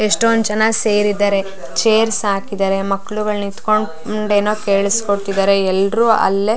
ಎಷ್ಟೊಂದು ಜನ ಸೇರಿದರೆ ಚೇರ್ಸ್ ಹಾಕಿದರೆ ಮಕ್ಕಳುಗಳು ನಿಂತಕೊಂಡು ಮುಂದೇನೂ ಕೆಲ್ಸ್ ಕೊಳ್ಳತ್ತಿದರೆ ಎಲ್ಲರು ಅಲ್ಲೆ --